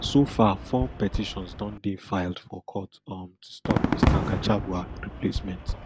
so far four petitions don dey filed for court um to stop mr gachagua replacement